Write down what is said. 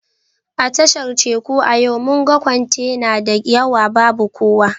A tashar Teku a yau mun ga kwantena da yawa babu kowa